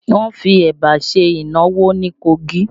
Wọn fi Ẹ̀bà ṣe ìnáwó ní Kogi